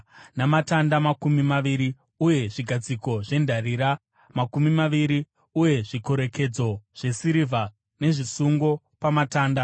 namatanda makumi maviri uye zvigadziko zvendarira makumi maviri uye zvikorekedzo zvesirivha nezvisungo pamatanda.